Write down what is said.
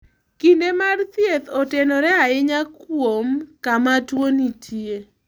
Kinde mar thieth otenore ahinya kuom kama tuwo nitie.